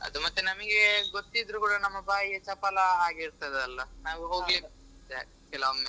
ಅದು ಮತ್ತೇ ನಮಿಗೆ ಗೊತ್ತಿದ್ರು ಕೂಡ ನಮ್ಮ ಬಾಯಿಯ ಚಪಲ ಹಾಗಿರ್ತದಲ್ಲಾ ನಾವ್ ಹೋಗ್ಲಿಕ್ಕೆ ಕೆಲವೊಮ್ಮೆ.